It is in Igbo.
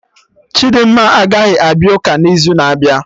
Chidimma agaghị abịa ụka n'izu na-abịa